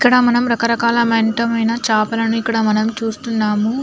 ఇక్కడ మనం రక రకాలు ఆయన ఎన్నో చంపాలని చూస్తున్నాం.